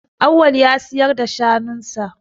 Awwal ya siyar da shanun sa.